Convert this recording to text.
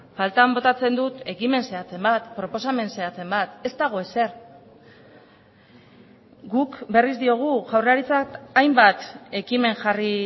faltan botatzen dut ekimen zehatzen bat proposamen zehatzen bat ez dago ezer guk berriz diogu jaurlaritzak hainbat ekimen jarri